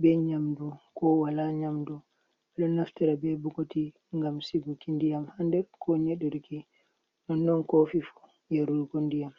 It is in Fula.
be nyamdu ko wala nyamdu bedo naftira be bokoti ngam siguki ndiyam ha nder ko nyedurki nonnon kofi fu yarugo nɗiyam.